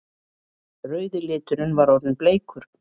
Rauði liturinn var orðinn bleikur!